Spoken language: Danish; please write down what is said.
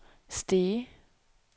Stege